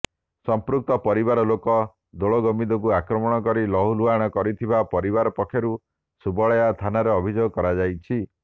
ସଂପୃକ୍ତ ପରିବାର ଲୋକେ ଦୋଳଗୋବିନ୍ଦଙ୍କୁ ଆକ୍ରମଣ କରି ଲହୁଲୁହାଣ କରିଥିବା ପରିବାର ପକ୍ଷରୁ ସୁବଳୟା ଥାନାରେ ଅଭିଯୋଗ କରାଯାଇଛି